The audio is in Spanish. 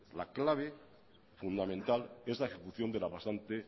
la clave fundamental es la ejecución de la pasante